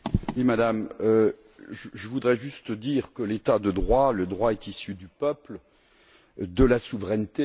Madame Vergiat, je voudrais juste dire que l'état de droit et le droit sont issus du peuple et de la souveraineté.